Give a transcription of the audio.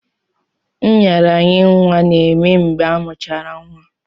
Nraranye nwa na-eme mgbe amuchara nwa.